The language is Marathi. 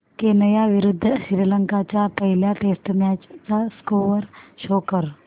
केनया विरुद्ध श्रीलंका च्या पहिल्या टेस्ट मॅच चा स्कोअर शो कर